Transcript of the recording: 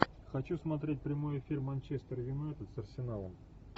хочу смотреть прямой эфир манчестер юнайтед с арсеналом